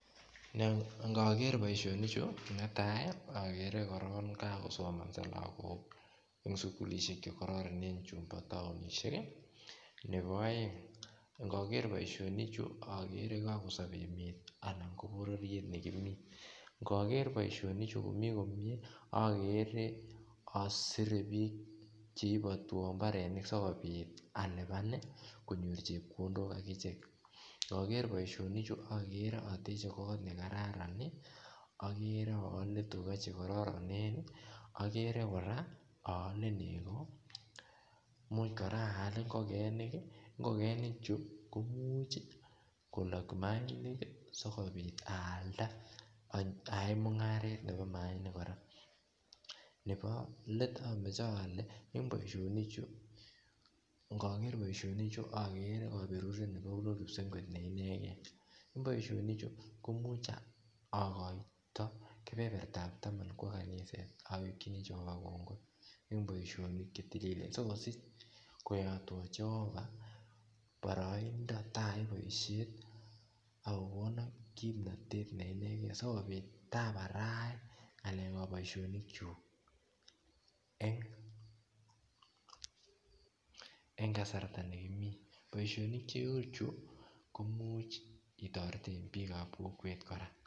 Ngogeere boisionichu netai ogeere kokosomoso logok en sukulisiek chekororonen chumbo toonishek nebo aeng ngogeere boisionichu ogeere kokosob emet ana ko bororiet ne kimi ngogeere boisionichu ogeere komi komyee osire biik cheibotwon imbarenik sikobiit alipan konyor chepkondok akichek indogeere boisionichu ogeere oteche koot ne kararan ogeere oole tuka che kororonrn ogeere kora oole nego imuch kora al ingikeni ingokenichu komuche kolok imainik sikobiit alda ayaen mungaret nebo imainik kora nebo let omoche ole en boisionichu ngogeere boisionichu ogeere koberuret nebunu kipsengwet ne inegen en boisionichu komuche ogoito kebebertab tam kwo kaniset awekji Jehovah kongoi en boisionik che tililen sikobiit koyoteon Jehovah boroindo itayai boisiet ak kokonom kimnotet ne inegei sikobiit abarait boisionikyuk en kasarta nekimi boisionik cheuchu imuchel itoreten biikab kokwet kora